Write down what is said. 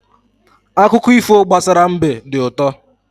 Akụkọ ifo gbasara mbe dị ụtọ.